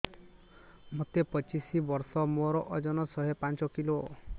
ମୋତେ ପଚିଶି ବର୍ଷ ମୋର ଓଜନ ଶହେ ପାଞ୍ଚ କିଲୋ